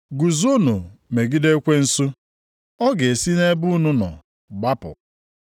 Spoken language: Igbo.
Ya mere, nyenụ Chineke onwe unu. Guzonụ megide ekwensu, ọ ga-esi nʼebe unu nọ gbapụ.